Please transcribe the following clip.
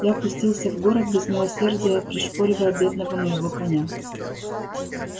я пустился в город без милосердия пришпоривая бедного моего коня